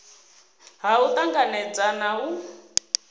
ha u tanganedza na u